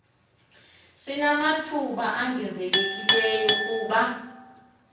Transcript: sinamathuba ongezelelekileyo kuba